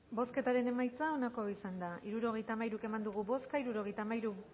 bozketaren emaitza onako izan da hirurogeita hamairu eman dugu bozka